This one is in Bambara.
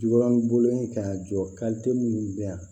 Jo b'an bolo yen ka jɔ minnu bɛ yan